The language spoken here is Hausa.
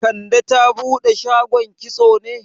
Kande ta bude shagon kitso ne yau?